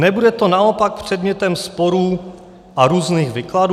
Nebude to naopak předmětem sporů a různých výkladů?